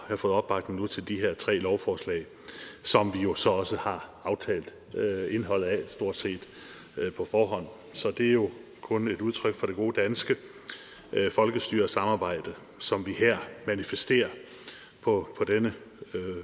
at have fået opbakning til de her tre lovforslag som vi jo så også har aftalt indholdet af stort set på forhånd så det er jo kun et udtryk for det gode danske folkestyre og samarbejde som vi her manifesterer på denne